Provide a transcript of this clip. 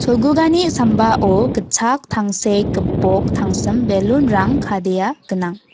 sambao gitchak tangsek gipok tangsim balloon-rang kadea gnang.